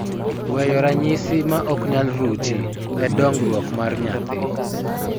Weyo ranyisi ma ok nyal ruchi e dongruok mar nyathi